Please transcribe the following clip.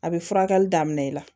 A bɛ furakɛli daminɛ i la